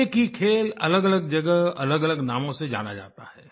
एक ही खेल अलगअलग जगह अलगअलग नामों से जाना जाता है